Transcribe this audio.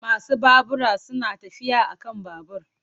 Masu babura suna tafiya a kan babur.